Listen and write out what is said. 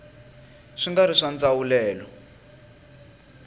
swi nga ri swa ndzawulelo